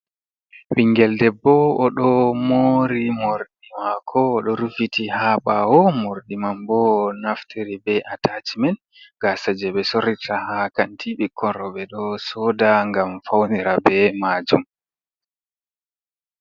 Ɓiingel debbo oɗo mori morɗi mako. Oɗo ruffiti ha bawo morɗi man ɓow onaftari be atachimen gasa je ɓe sorrata ha kanti ɓikkon roɓe ɗo soda ngam faunira be majum.